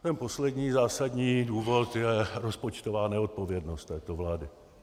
Ten poslední zásadní důvod je rozpočtová neodpovědnost této vlády.